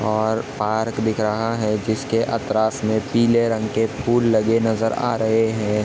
--और पार्क दिख रहा है जिसके अकरास में पीले रंग के फूल लगे नजर आ रहे है।